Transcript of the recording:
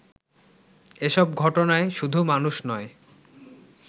এসব ঘটনায় শুধু মানুষ নয়